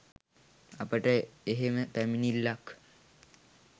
අපට එහෙම පැමිණිල්ලක්